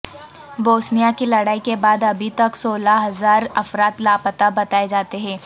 Bosnia کی لڑائی کے بعد ابھی تک سولہ ہزار افراد لاپتہ بتائےجاتے ہیں